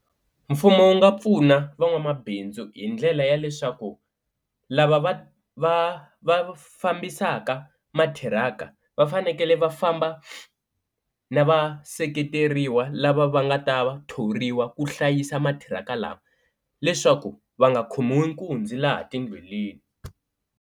Mfumo wu nga pfuna van'wamabindzu hi ndlela ya leswaku lava va va va fambisaka matiraka va fanekele va famba na va seketeriwa lava va nga ta va thoriwa ku hlayisa matiraka lama leswaku va nga khomiwi nkunzi laha tindleleni.